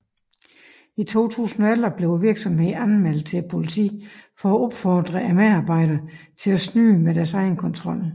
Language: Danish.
I 2011 blev virksomheden anmeldt til politiet for at opfordre medarbejderne til at snyde med deres egenkontrol